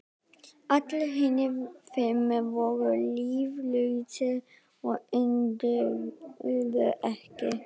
Allir hinir fimm voru líflausir og önduðu ekki.